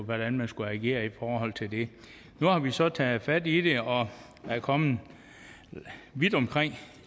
hvordan man skulle agere i forhold til det nu har vi så taget fat i det og er kommet vidt omkring